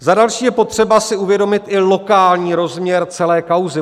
Za další je potřeba si uvědomit i lokální rozměr celé kauzy.